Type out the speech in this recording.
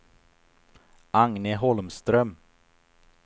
Agne Holmström